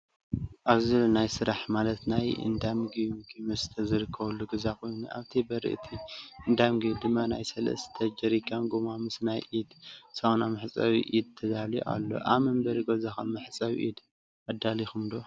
ኣብዚ ዘሎ ናይ ስራሕ ማለት ናይ እንዳምግቢ ምግቢ መስተታት ዝርከበሉ ገዛ ኮይኑ ኣብ በሪ እቲ እንዳምግቢ ድማ ናይ ሰለስተ ጀሪካን ጎማ ምስ ናይ ኢድ ሳሙና መሕፀቢ ኢድ ተዳልዩ ኣሎ::ኣብ መንበሪ ገዛኩም መሕፀቢ ኢድ ኣዳሊኩም ዶ?